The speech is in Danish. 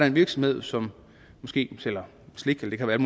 en virksomhed som måske sælger slik det kan være